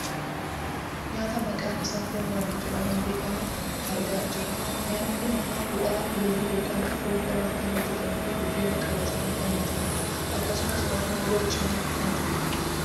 Nyaata maqaan isaa foon waaddii jedhamuun beekkamu argaa jirra. Nyaanni kun bu'aa loonii yookaan foon irraa kan hojjatamuufi buddeeniin qabatamee kan nyaatamudha. Akkasumas raafuun wal cinaa kan jirudha. Qaaraanis keessatti argama.